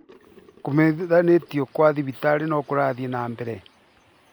Kũmenyithanio kwa thibitarĩ no kũrathiĩ na mbere